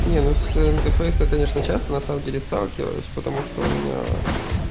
не ну с интерфейсом конечно часто на самом деле сталкивалась потому что у меня